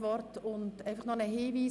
Zuvor habe ich noch einen Hinweis.